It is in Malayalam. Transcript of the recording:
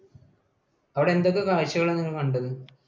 അവിടെ എന്തൊക്കെ കാഴ്ചകളാ നിങ്ങൾ കണ്ടത്?